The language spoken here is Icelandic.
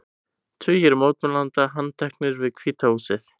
Tugir mótmælenda handteknir við Hvíta húsið